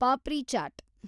papri chat